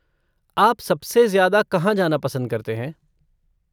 आप सबसे ज़्यादा कहाँ जाना पसंद करते हैं?